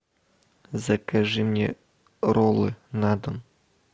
закажи мне роллы на дом